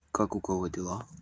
как у кого дела